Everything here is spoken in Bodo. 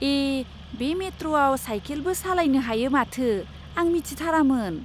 ए! बे मेट्र'आव साइकेलबो सालायनो हायो माथो! आं मिथिथारामोन!